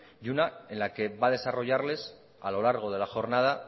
y una en la que va a desarrollarles a lo largo de la jornada